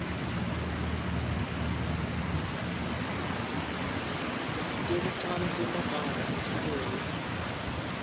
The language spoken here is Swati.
tekucala temagama nesibongo